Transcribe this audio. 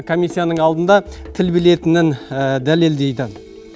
комиссияның алдында тіл білетінін дәлелдейді